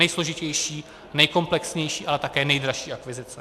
Nejsložitější, nejkomplexnější, ale také nejdražší akvizice.